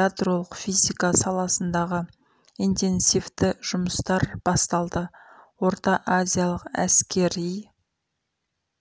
ядролық физика саласындағы интенсивті жұмыстар басталды орта азиялық әскери